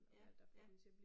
Ja, ja